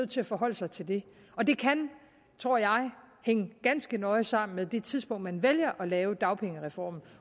til at forholde sig til det og det kan tror jeg hænge ganske nøje sammen med det tidspunkt man vælger at lave dagpengereformen